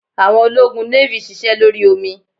Àwọn ológun navy sise lórí omi